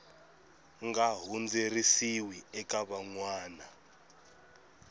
nga hundziseriwi eka van wana